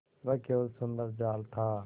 वह केवल सुंदर जाल था